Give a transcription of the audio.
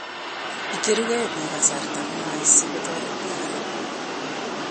Icherukei biik kasarta ngwang si kotoret biik alak.